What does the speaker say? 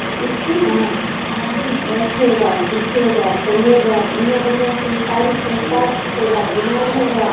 इसपे ना आदमी बैठेगा लिखेगा पढ़ेगा बढ़िया-बढ़िया संस्कारी संस्कार सीखेगा दिमाग होगा।